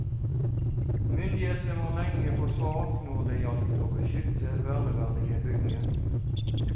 Myndighetene var lenge for svake når det gjaldt å beskytte verneverdige bygninger.